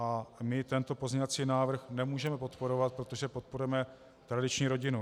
A my tento pozměňovací návrh nemůžeme podporovat, protože podporujeme tradiční rodinu.